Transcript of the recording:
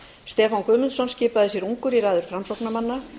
stefán guðmundsson skipaði sér ungur í raðir framsóknarmanna